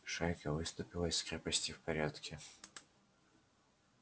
шайка выступила из крепости в порядке